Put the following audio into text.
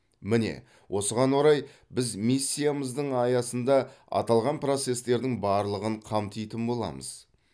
міне осыған орай біз миссиямыздың аясында аталған процестердің барлығын қамтитын боламыз